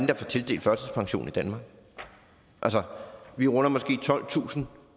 der får tildelt førtidspension i danmark vi runder måske tolvtusind